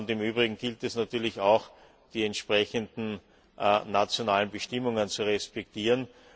Im Übrigen gilt es natürlich auch, die entsprechenden nationalen Bestimmungen zu respektieren.